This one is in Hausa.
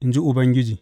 in ji Ubangiji.